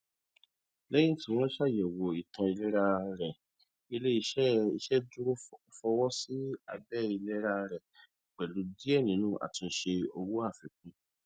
lẹyìn tí wọn ṣàyẹwò ìtàn ìlera rẹ iléiṣẹ iṣeduro fọwọ sí àbẹ ìlera rẹ pẹlú díẹ nínú àtúnṣe owó àfikún